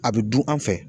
A bɛ du an fɛ